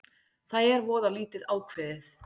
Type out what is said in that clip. Það er voða lítið ákveðið